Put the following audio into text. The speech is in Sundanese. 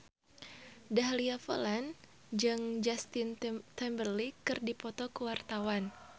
Dahlia Poland jeung Justin Timberlake keur dipoto ku wartawan